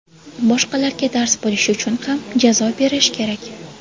Boshqalarga dars bo‘lishi uchun ham jazo berish kerak.